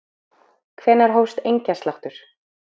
Hvenær hófst engjasláttur?